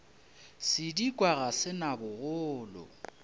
sedikwa ga se na bogolo